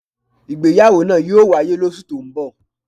Ìgbéyàwó náà yóò wáyé lósù tó ń bọ̀.